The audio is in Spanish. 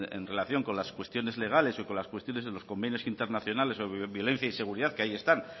en relación con las cuestiones legales o con las cuestiones de los convenios internacionales sobre violencia y seguridad que ahí están